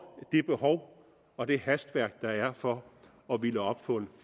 det behov og det hastværk der er for at ville op på en